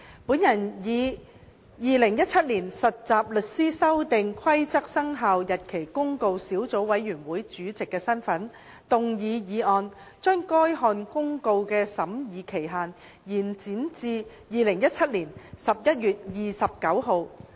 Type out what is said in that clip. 我以《〈2017年實習律師規則〉公告》小組委員會主席的身份動議議案，將該項公告的審議期限延展至2017年11月29日。